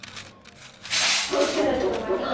குறுக்கிடுறதுக்கு மன்னிக்கணும்